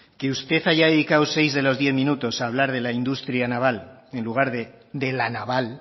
que usted haya dedicado seis de los diez minutos a hablar de la industria naval en lugar de la naval